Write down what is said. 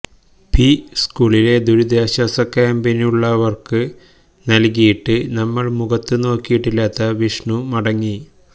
P സ്കൂളിലെ ദുരിതാശ്വാസക്യാമ്പിലുള്ളവര്ക്ക് നല്കിയിട്ട് നമ്മള് മുഖത്തു നോക്കിയിട്ടില്ലാത്ത വിഷ്ണു മടങ്ങി